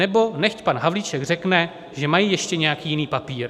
Nebo nechť pan Havlíček řekne, že mají ještě nějaký jiný papír.